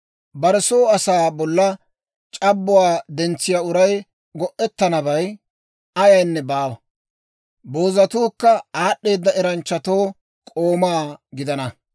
Bare soo asaa bolla c'abbuwaa dentsiyaa uray go'ettanabay ayaynne baawa. Boozatuukka aad'd'eeda eranchchatoo k'ooma gidana.